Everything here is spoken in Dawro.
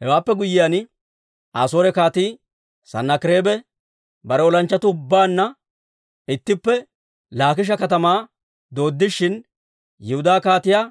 Hewaappe guyyiyaan, Asoore Kaatii Sanaakireebe bare olanchchatuu ubbaanna ittippe Laakisha katamaa dooddishin, Yihudaa Kaatiyaa